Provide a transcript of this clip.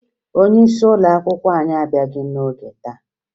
Onyeisi ụlọakwụkwọ anyị abịaghị n'ọge taa